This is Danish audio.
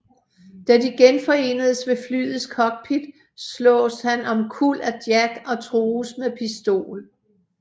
Da de genforenes ved flyets cockpit slås han omkuld af Jack og trues med pistol